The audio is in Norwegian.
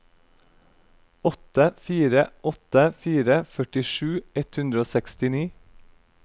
åtte fire åtte fire førtisju ett hundre og sekstini